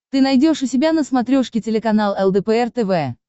ты найдешь у себя на смотрешке телеканал лдпр тв